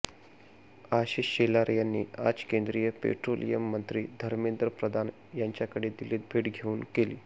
आशिष शेलार यांनी आज केंद्रीय पेट्रोलियम मंत्री धर्मेंद्र प्रधान यांच्याकडे दिल्लीत भेट घेऊन केली